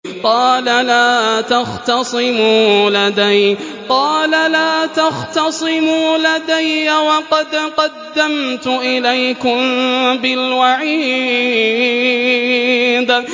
قَالَ لَا تَخْتَصِمُوا لَدَيَّ وَقَدْ قَدَّمْتُ إِلَيْكُم بِالْوَعِيدِ